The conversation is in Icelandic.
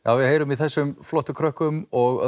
við heyrum í þessum krökkum og